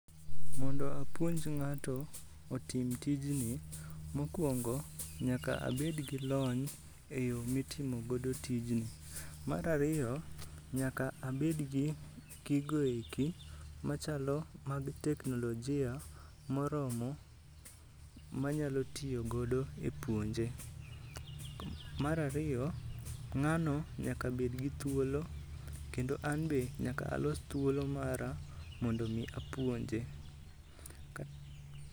Mondo apuonj ng'ato otim tijni, mokwongo nyaka abed gi lony e yo mitimo godo tijni. Mar ariyo, nyaka abedgi gigoeki machalo mag teknolojia moromo manyalo tiyo godo e puonje. Mar ariyo, ng'ano nyaka bed gi thuolo, kendo an be nyaka alos thuolo mara mondo mi apuonje. Ka.